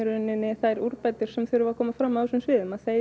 þær úrbætur sem þurfa að koma fram á þessum sviðum að þeir